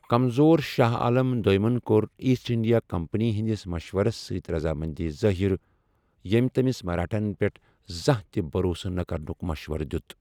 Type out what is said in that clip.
کمزور شاہ عالم دویمن كو٘ر ایسٹ انڈیا کمپنی ہندِس مشورس سۭتۍ رضامندی ظٲہِر ،یمہِ تمِس مراٹاہن پیٹھ زانہہ تہِ بھروسہٕ نہٕ كرنُك مشورٕ دِیوُت ۔